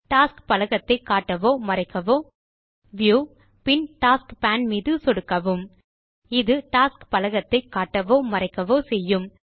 tasks பலகத்தை காட்டவோ மறைக்கவோ முறையே வியூ பின் டாஸ்க் பேன் மீது சொடுக்கவும் இது டாஸ்க்ஸ் பலகத்தை காட்டவோ மறைக்கவோ செய்யும்